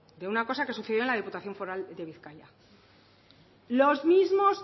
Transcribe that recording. de una cosa que sucedió en la diputación foral de bizkaia los mismos